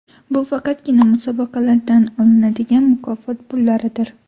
Bu faqatgina musobaqalardan olinadigan mukofot pullaridir.